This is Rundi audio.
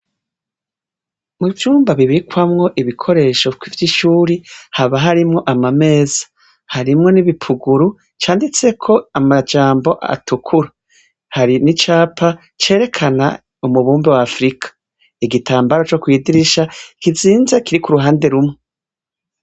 Mu vyumba bibikwamwo ibikoresho kivyo ishuri haba harimwo amameza harimwo n'ibipuguru canditseko amajambo atukuru hari n'icapa cerekana umubumbe wafurika igitambaro co kwidirisha kizinza kiri ku ruhande rumwe.